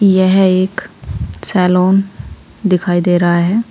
यह एक सैलून दिखाई दे रहा है।